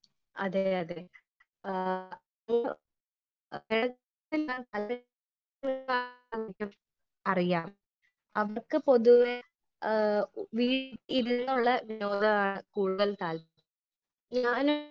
Speaker 1 അതെ അതെ അറിയാം . അവർക്ക് പൊതുവെ വീട്ടിലിരുന്നുള്ള ലോകമാണ് കൂടുതൽ താല്പര്യം .